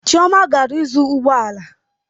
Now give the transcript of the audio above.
Chioma gara ịzụ ụgbọ ala